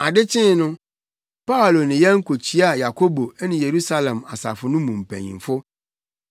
Ade kyee no, Paulo ne yɛn kokyia Yakobo ne Yerusalem asafo no mu mpanyimfo.